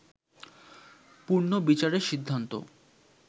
পুনর্বিচারের সিদ্ধান্ত